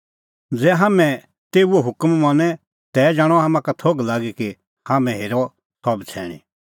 ज़ै हाम्हैं तेऊओ हुकम मनें तै जाणअ हाम्हां का थोघ लागी कि हाम्हैं हेरअ सह बछ़ैणीं